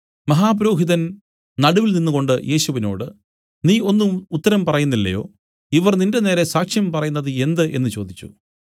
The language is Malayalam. മഹാപുരോഹിതൻ നടുവിൽ നിന്നുകൊണ്ടു യേശുവിനോടു നീ ഒന്നും ഉത്തരം പറയുന്നില്ലയോ ഇവർ നിന്റെനേരെ സാക്ഷ്യം പറയുന്നത് എന്ത് എന്നു ചോദിച്ചു